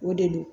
O de don